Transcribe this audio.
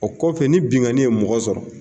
O kɔfɛ ni bingani ye mɔgɔ sɔrɔ.